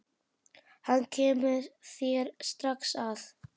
Hann kemur þér strax að.